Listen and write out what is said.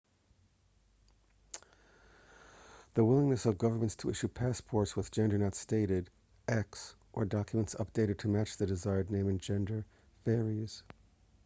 the willingness of governments to issue passports with gender not stated x or documents updated to match a desired name and gender varies